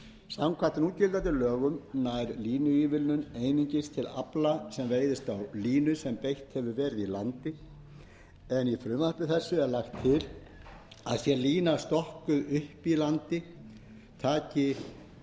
samkvæmt núgildandi lögum nær línuívilnun einungis til afla sem veiðist á línu sem beitt hefur verið í landi en í frumvarpi þessu er lagt til að sé lína stokkuð upp í landi taki ívilnunarregla